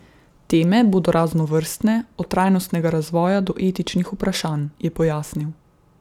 Teme bodo raznovrstne, od trajnostnega razvoja do etičnih vprašanj, je pojasnil.